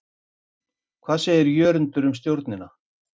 Hvað segir Jörundur um Stjörnuna?